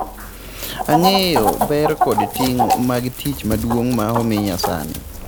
"""Ang'eyo ber kod ting' mag tich maduong' ma omiya sani."